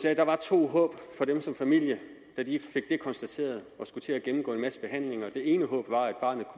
at der var to håb for dem som familie da de fik det konstateret og skulle til at gennemgå en masse behandlinger det ene håb var at barnet